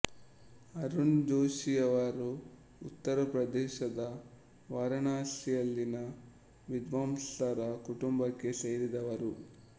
ಅರುಣ್ ಜೋಷಿಯವರು ಉತ್ತರ ಪ್ರದೇಶದ ವಾರಣಾಸಿಯಲ್ಲಿನ ವಿದ್ವಾಂಸರ ಕುಟುಂಬಕ್ಕೆ ಸೇರಿದವರು